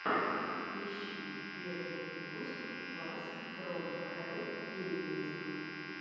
ищи первый выпуск бас фром хэлл гейминг